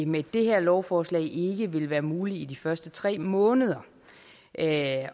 med det her lovforslag ikke vil være muligt i de første tre måneder at